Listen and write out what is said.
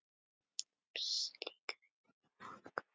Fimm slíkar eru í notkun.